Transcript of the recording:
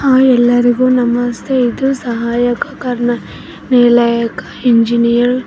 ಆ ಎಲ್ಲರಿಗು ನಮಸ್ತೆ ಇದು ಸಹಾಯಕ ಕಾರ್ಯ ನಿಲಯಕ ಇಂಜಿನಿಯರ್ .